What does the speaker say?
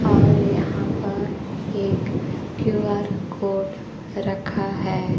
और यहां पर एक क्यू_आर कोड रखा है।